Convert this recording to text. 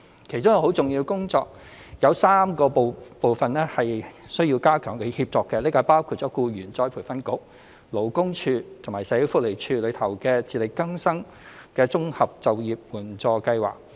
其中一項很重要的工作，是有3個部分需要加強協作，包括僱員再培訓局、勞工處及社會福利署的"自力更生綜合就業援助計劃"。